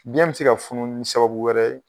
Biɲɛ bi se ka funu ni sababu wɛrɛ ye